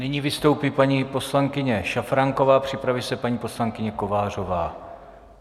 Nyní vystoupí paní poslankyně Šafránková, připraví se paní poslankyně Kovářová.